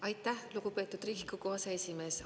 Aitäh, lugupeetud Riigikogu aseesimees!